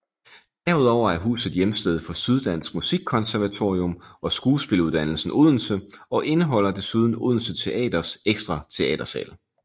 Derudover er huset hjemsted for Syddansk Musikkonservatorium og Skuespiluddannelsen Odense og indeholder desuden Odense Teaters ekstra teatersal